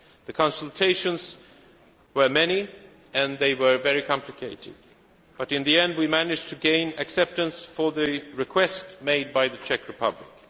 The consultations were many and they were very complicated, but in the end, we managed to gain acceptance for the request made by the Czech Republic.